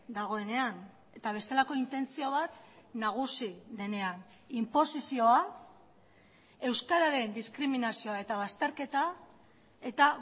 dagoenean eta bestelako intentzio bat nagusi denean inposizioa euskararen diskriminazioa eta bazterketa eta